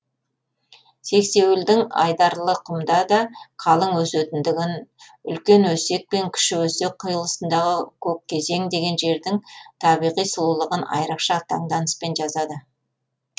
сексеуілдің айдарлықұмда да қалың өсетіндігін үлкен өсек пен кіші өсек қиылысындағы көккезең деген жердің табиғи сұлулығын айрықша таңданыспен жазады